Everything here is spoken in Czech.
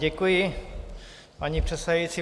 Děkuji, paní předsedající.